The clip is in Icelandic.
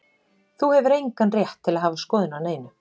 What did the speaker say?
Þú hefur engan rétt til að hafa skoðun á neinu.